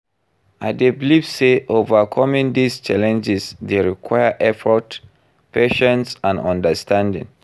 I dey believe say overcoming these challenges dey require effort, patience and understanding.